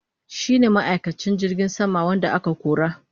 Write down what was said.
shine ma'aikacin jirgin sama wanda aka kora.